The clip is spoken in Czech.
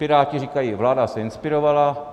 Piráti říkají: vláda se inspirovala.